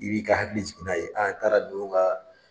I b'i ka hakili jigi n'a ye n taara don u ka